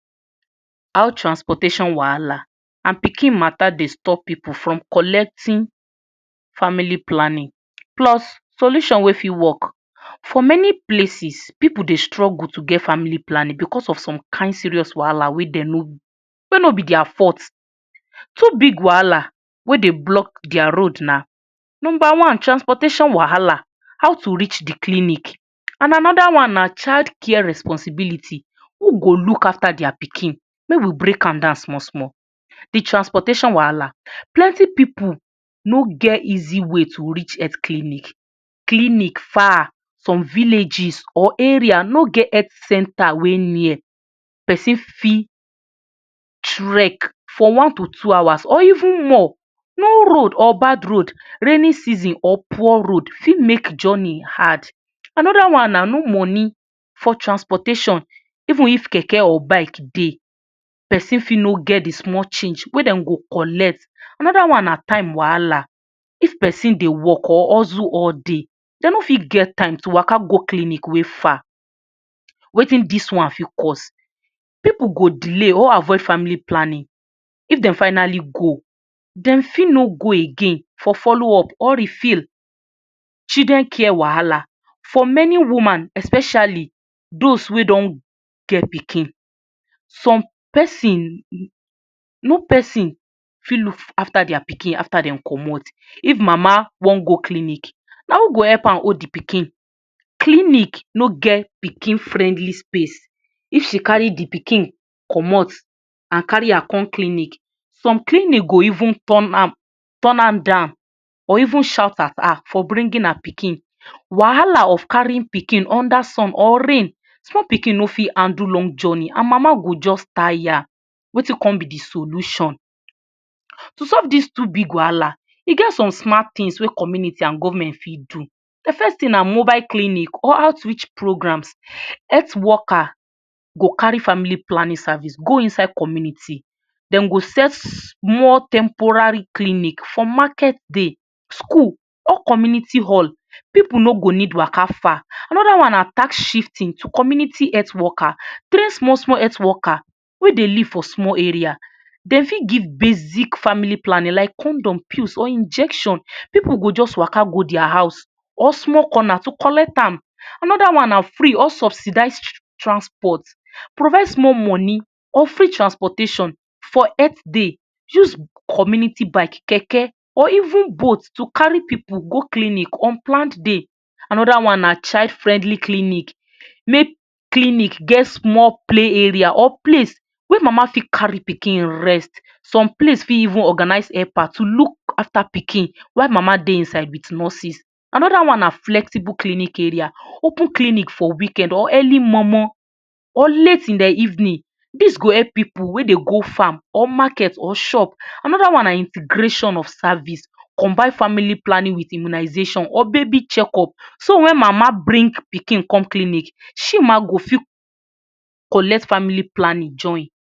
How transportation wahala and pikin wahala dey stop pipu from collecting family planning plus solution wey fit work. For many places pipu dey struggle to get family planning because of some kind serious wahala wey dem no no, wey no b dis full, two big wahala wey dey block dia road na, number one transportation wahala how to reach de clinic and another one na child care responsibility who go look after dia pikin, make we break an down small small, de transportation wahala, plenty pipu no get easy way to reach clinic, clinic far from villages or area no get health center wey near, persin for trek for one to two hours or even more, ni road or bad road, raining season or poor road for make journey hard, another one na no money for transportation even of keke or bike dey person for no get de small change wey dem go collect, another one na time wahala, fit persin dey work or hustle all day dem no fit get time to waka go clinic wey far, Wetin dis one fit cause, pipu go delay or avoid family planning, if dem family go dem for no go again follow up or refil, children care wahala, for many women, especially those wey don get pikin some persin, no persin fit look after dia pikin after dem commot, if mama wan go clinic na who go help am hold de pikin, clinic ni get pikin friendly space, if she carry de pikin commot and carry her come clinic, some clinic go even turn am down or even shout at her for bringing her pikin, wahala if carrying pikin under sun or rain, small pikin no fit handle long journey and mama go jus tire, Wetin con b de solution, to solve this two wahala e get some smart things wey government and community fit do, de first thing na mobile clinic or outreach programs, health worker go carry family planning service go inside community, dem go set small temporary clinic for market day, school or community hall pipu ni go need Waka far, another one na task shifting to community health worker, train small small health worker wey dey live for small area, dem got give basic family planning like condom, pills or injection pipu go jus Waka go dia house or small corner to jus collect am, another one na free or subsidized transport, provide small money or free transportation for health day, use community bike or keke or even boat to carry pipu go clinic on planned day, another one na child friendly clinic, make clinic get small play area or place wey mama fit carry pikin rest some place for even organize helper to look after pikin while mama dey inside with nurses another one na flexible clinic area, open clinic for weekend or early momo or late in de evening, dos go help pipu wey dey go farm or market or shop, another one na integration of service, combine family planning with immunization or baby check up so wen mama bring pikin come clinic she ma go fit collect family planning join.